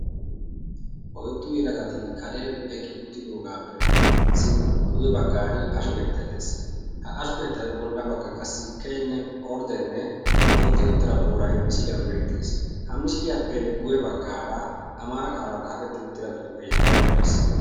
oiddu yilagati karen eqi uttidoogaappe sint guwe baggan asho keettai dees. ha asho keettayyo bolla baggan qassi keinne orddenne mooxxi ottira buurai misiiliyan beetties. ha misiliyaappe guwe baggaara amaara qaalan xaafetti uttida xuufee ai qocciisi?